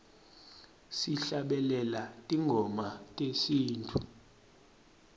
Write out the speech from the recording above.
sihlabelela tingoma tesintfu